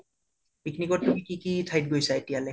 picnic ত কি কি ঠাইত গৈছা এতিয়ালৈ